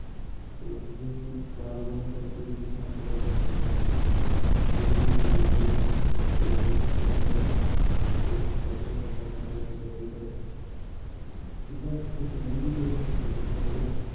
ਤੇ ਉਸਦੀ ਬਾਗ਼ਬਾਨੀ ਕਰਕੇ ਵੀ ਕਿਸਾਨ ਕਮਾਈ ਕਰ ਸਕਦਾ ਹੈ ਬੇਰੀ ਹੋ ਗਈ ਬੇਰ ਜਿਹੜੇ ਹੈਗੇ ਆ ਉਹ ਸਰਦੀ ਦਾ ਮੌਸਮ 'ਚ ਕੋਈ ਫ਼ਰਕ ਨੀ ਪੈਂਦਾ ਉਹਨਾਂ ਨੂੰ ਬਹੁਤੀ ਸਰਦੀ ਦਾ ਵੀ ਤੇ ਏਦਾਂ ਇੱਕ ਲੰਬੀ ਚੌੜੀ list ਹੈਗੀ ਹੈ ਸਾਡੇ ਕੋਲ